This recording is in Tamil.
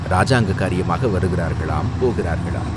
இராஜாங்க காரியமாக வருகிறார்களாம், போகிறார்களாம்.